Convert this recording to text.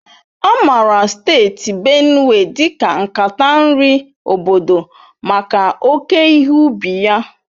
A maara Steeti Benue dị ka nkata nri obodo maka oke ihe ubi ya.